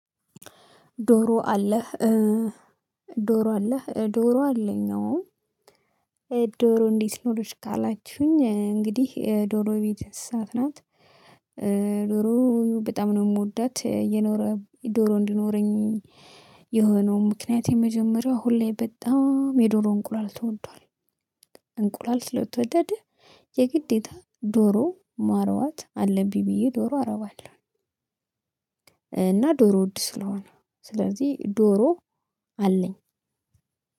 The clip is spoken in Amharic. ዶሮ አለህ ዶሮ አለኝ አዎ። ዶሮ እንዴት ኖሮሽ ካላችሁኝ? እንግዲህ ዶሮ የቤት እንስሳት ናት። ዶሮ በጣም ነው የምወዳት የኖረ ዶሮ እንድኖረኝ። የሆነው ምክንያት የመጀመሪያው ሁሌ በጣም የዶሮ እንቁላል ተወዷል። እንቁላል ስለተወደደ የግዴታ ዶሮ ማርባት አለብኝ ብዬ ዶሮ አረባለሁ። እና ዶሮ ውድ ስለሆነ ስለዚህ ዶሮ አለኝ።